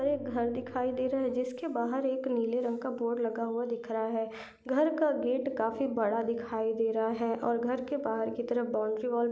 एक घर दिखाई दे रहा है जिसके बहार एक नीले रंग का बोर्ड लगा हुआ दिख रहा है घर का गेट खाफी बड़ा दिखाई दे रहा है और घर के बहार की और बाउंड्री वॉल --